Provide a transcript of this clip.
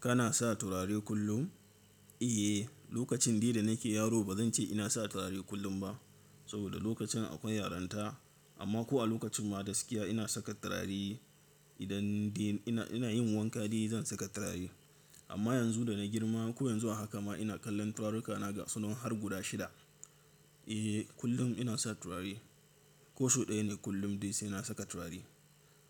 Kana sa turare kullum? Eh, lokacin dai nake yaro ba zan ce ina sa turare kullum ba, saboda lokacin akwai yaranta. Amma ko a lokacin magaskiya ina saka turare. Idan dai ina yin wanka dai zan saka turare. Amma yanzu da na girma ko yanzu a haka ma ina kallon turaruka na gasunan har guda shida. Eh, kullum ina sa turare. Kosau ɗaya ne kullum dai sai na saka turare.